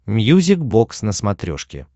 мьюзик бокс на смотрешке